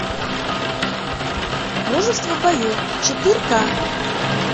мужество в бою четырка